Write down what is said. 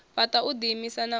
fhaṱa u ḓiimisa na u